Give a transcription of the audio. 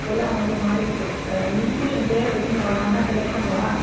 இப்போ எல்லாம் வந்து மாறிடுத்து அஹ் institution பேரை வச்சுட்டு ஒண்ணு ஒண்ணா பண்ணுவா